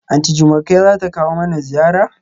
Aunty Jumoke zata kawo mana ziyara?